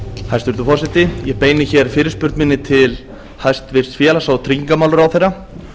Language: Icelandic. hæstvirtur forseti ég beini hér fyrirspurn minni til hæstvirts félags og tryggingamálaráðherra